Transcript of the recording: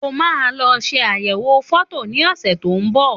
Òmà lo sẹ àyẹwò fọtọ ni ọse tọ ún ḿbọ